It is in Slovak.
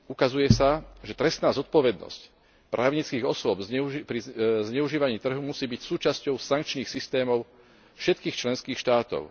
Ukazuje sa, že trestná zodpovednosť právnických osôb pri zneužívaní trhu musí byť súčasťou sankčných systémov všetkých členských štátov.